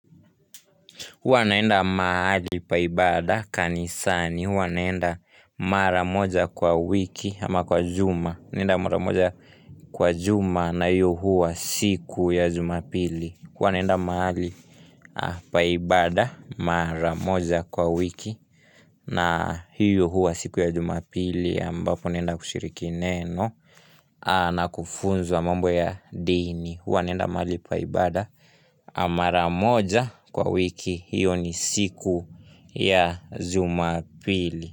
Huwa naenda mahali pa ibada kanisani. Huwa naenda mara moja kwa wiki ama kwa juma. Huwa naenda mara moja kwa juma na hiyo huwa siku ya jumapili. Huwa naenda mahali pa ibada mara moja kwa wiki na hiyo huwa siku ya jumapili. Ambapo nenda kushiriki neno na kufunzwa mambo ya dini. Wanenda malipa ibada amara moja kwa wiki hiyo ni siku ya ZumaPili.